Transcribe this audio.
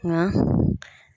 Nga